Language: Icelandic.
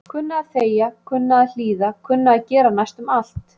Kunna að þegja, kunna að hlýða kunna að gera næstum allt.